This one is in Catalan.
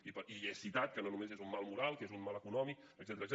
i he citat que no només és un mal moral que és un mal econòmic etcètera